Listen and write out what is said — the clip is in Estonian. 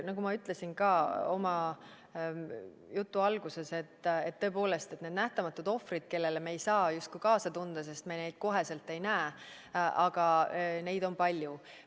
Nagu ma ütlesin ka oma jutu alguses, et tõepoolest, need nähtamatud ohvrid, kellele me ei saa justkui kaasa tunda, sest me neid kohe ei näe, aga neid on palju.